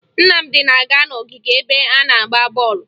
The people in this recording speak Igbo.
Nnamdị na-aga n'ogige ebe a na-agba bọọlụ